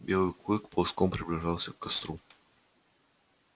белый клык ползком приближался к костру